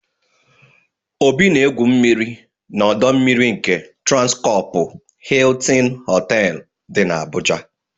Obi na-egwu mmiri n'ọdọ mmiri nke Transkọpụ Hịịtịn Họtelụ dị n'Abuja.